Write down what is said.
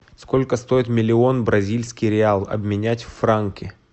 сколько стоит миллион бразильский реал обменять в франки